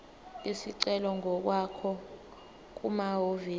isicelo ngokwakho kumahhovisi